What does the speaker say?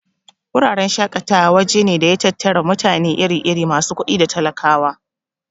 Wuraren shaƙatawa waje ne da ya tattari mutane iri-iri, masu kuɗi da talakawa.